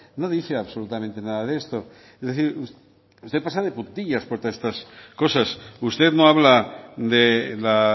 no dice absolutamente nada de esto es decir usted pasa de puntillas por todas estas cosas usted no habla de la